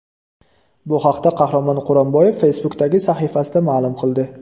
Bu haqda Qahramon Quronboyev Facebook’dagi sahifasida ma’lum qildi .